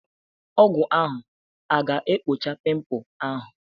Ọgwu ahu aga-ekpocha pimpul ahu?